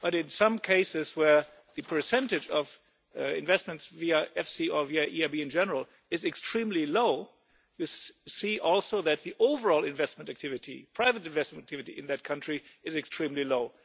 In some cases where the percentage of investments via EFSI or via the EIB in general is extremely low, we see also that the overall investment activity private investment activity in that country is extremely low.